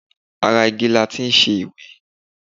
Ara igi láti ṣe ìwé.